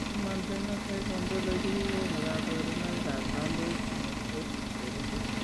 Human Phenotype Ontology kokonu kabarunoikab Lamboid synostosis cherube.